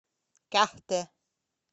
кяхте